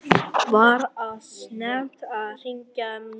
Var of snemmt að hringja núna?